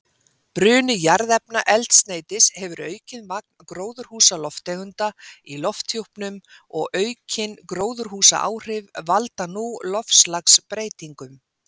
Bruni jarðefnaeldsneytis hefur aukið magn gróðurhúsalofttegunda í lofthjúpnum og aukin gróðurhúsaáhrif valda nú loftslagsbreytingum.